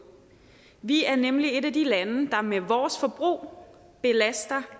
vi er nemlig et af de lande der med vores forbrug belaster